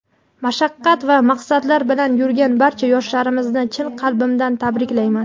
mashaqqat va maqsadlar bilan yurgan barcha yoshlarimizni chin qalbimdan tabriklayman.